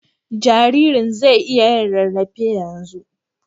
Jaririn zai iya yin rarrafe yanzu.